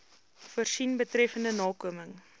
voorsien betreffende nakoming